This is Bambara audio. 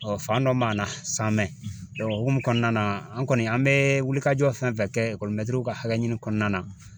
fan dɔ m'an na sa o hukumu kɔnɔna na an kɔni an bɛ wulikajɔ fɛn fɛn kɛ mɛtiriw ka hakɛ ɲini kɔnɔna na